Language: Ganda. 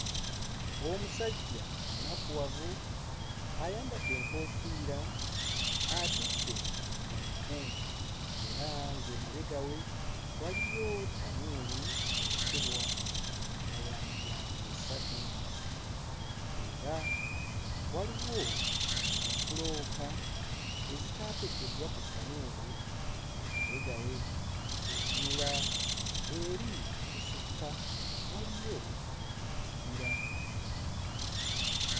Omusajja omunakuwavu, ayambadde enkofiira, atudde ku nku era ng'emabega we waliyo ttanuulu eyokebwa nga ya miryango esatu. Era, waliwo ne bbulooka ezitaateekeddwa ku ttanuulu emabega we. Bw'otunula eri e busukka waliyo ekibira.